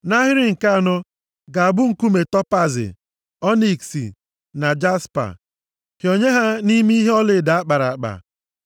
Nʼahịrị nke anọ, ga-abụ nkume topaazi, ọniks na jaspa. Hịọnye ha nʼime ihe ọlaedo a kpara akpa.